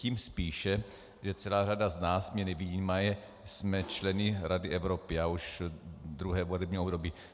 Tím spíše, že celá řada z nás, mě nevyjímaje, jsme členy Rady Evropy, já už druhé volební období.